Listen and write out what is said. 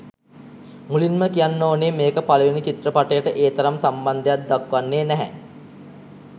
මුලින්ම කියන්න ඕනේ මේක පළවෙනි චිත්‍රපටයට ඒ තරම් සම්බන්ධයක් දක්වන්නේ නැහැ.